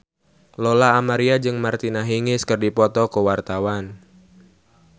Lola Amaria jeung Martina Hingis keur dipoto ku wartawan